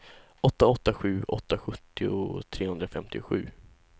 åtta åtta sju åtta sjuttio trehundrafemtiosju